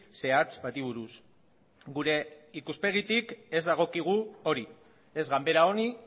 zehatz bati buruz gure ikuspegitik ez dagokigu hori ez ganbera honi